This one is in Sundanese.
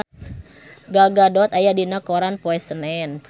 Gal Gadot aya dina koran poe Senen